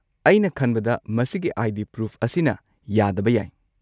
ꯑꯩꯅ ꯈꯟꯕꯗ ꯃꯁꯤꯒꯤ ꯑꯥꯏ.ꯗꯤ. ꯄ꯭ꯔꯨꯐ ꯑꯁꯤꯅ ꯌꯥꯗꯕ ꯌꯥꯏ꯫